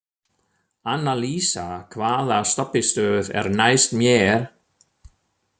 Annalísa, hvaða stoppistöð er næst mér?